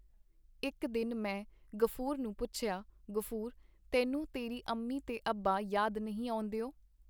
ਇੱਕ ਦਿਨ ਮੈਂ ਗ਼ਫੂਰ ਨੂੰ ਪੁੱਛਿਆ, ਗ਼ਫੂਰ, ਤੈਨੂੰ ਤੇਰੀ ਅੰਮੀ ਤੇ ਅੱਬਾ ਯਾਦ ਨਹੀਂ ਆਉਂਦੇ.